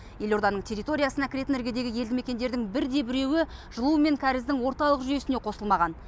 елорданың территориясына кіретін іргедегі елді мекендердің бірде біреуі жылу мен кәріздің орталық жүйесіне қосылмаған